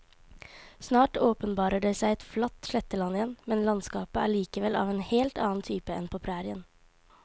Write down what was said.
Snart åpenbarer det seg et flatt sletteland igjen, men landskapet er likevel av en helt annen type enn på prærien.